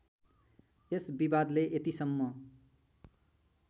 यस विवादले यतिसम्म